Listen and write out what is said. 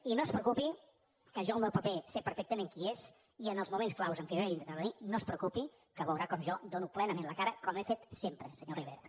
i no es preocupi que jo el meu paper sé perfectament quin és i en els moments claus en què jo hagi d’intervenir no es preocupi que veurà com jo dono plenament la cara com he fet sempre senyor rivera